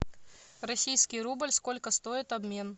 российский рубль сколько стоит обмен